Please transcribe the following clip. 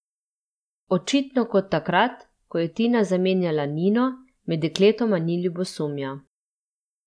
Očitno kot takrat, ko je Tina zamenjala Nino, med dekletoma ni ljubosumja.